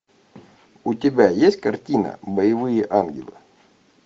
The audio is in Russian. у тебя есть картина боевые ангелы